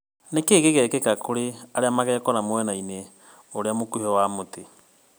Nĩkĩ gĩgekĩka kri arĩa magekora mwena-inĩ urĩa mukuhi wa mutĩ?